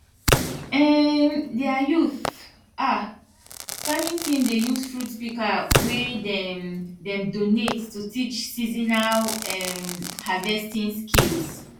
um dia youth um farming team dey use fruit pika wey dem dem donate to teach seasonal um harvesting skills